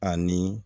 Ani